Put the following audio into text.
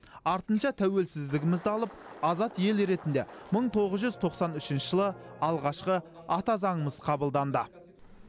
артынша тәуелсіздігімізді алып азат ел ретінде мың тоғыз жүз тоқсан үшінші жылы алғашқы ата заңымыз қабылданды